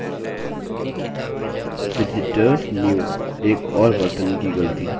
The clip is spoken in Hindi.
visitors new एक और वर्तनी की ग़लती